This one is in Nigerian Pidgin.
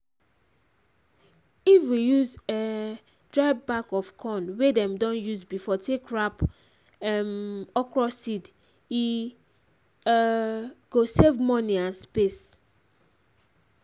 if we use um dry back of corn wey dem don use before take wrap um okra seed e um go save money and space.